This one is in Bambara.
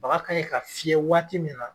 Baga ka ɲi ka fiyɛ waati min na